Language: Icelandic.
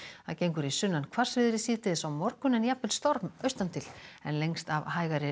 gengur í sunnan hvassviðri síðdegis á morgun en jafnvel storm a til en lengst af hægari